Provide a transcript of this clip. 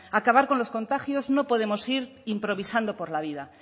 acabar con estos contagios no pode ir improvisando por la vida